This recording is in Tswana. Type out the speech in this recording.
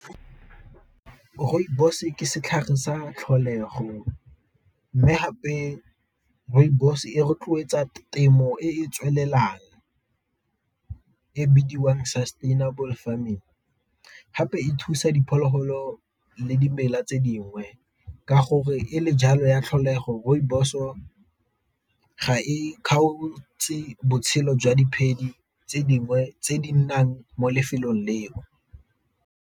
Rooibos-e ke setlhare sa tlholego, mme gape rooibos e rotloetsa temo e e tswelelang, e bidiwang sustainable farming, gape e thusa diphologolo le dimela tse dingwe ka gore e le jalo ya tlholego rooibos-o ga e kgaotse botshelo jwa tse dingwe tse di nnang mo lefelong leo.